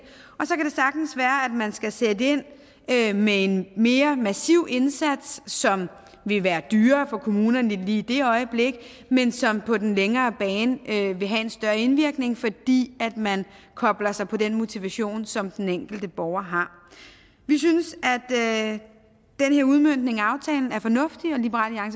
man skal sætte ind med en mere massiv indsats som vil være dyrere for kommunerne lige i det øjeblik men som på den længere bane vil have en større indvirkning fordi man kobler sig på den motivation som den enkelte borger har vi synes at den her udmøntning af aftalen er fornuftig og liberal